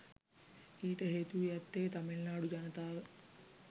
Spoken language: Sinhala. ඊට හේතු වී ඇත්තේ තමිල්නාඩු ජනතාව